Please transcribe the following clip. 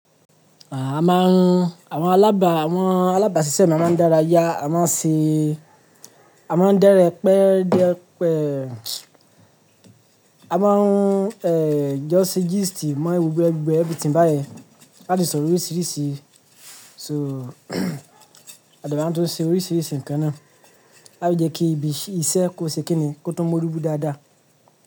Àa máa ń, àwọn alábà, àwọn alábàṣiṣẹ́ mi a máa ń dára yá, a máa ń ṣe, a máa ń dẹrẹ́pẹ́dẹ́pẹ́, a máa ń, jọ́ sẹ́ gístì mọ́ gbogbo e gbogbo everything beyẹn láti sọ̀rọ̀ oríṣìíríṣìí. So, a de ma tuń n ṣe oríṣìíríṣìí nǹkan náà. La ti jẹ́ kí ibi iṣẹ́ kó ṣe kíni kó tún mo riwu dáadáa.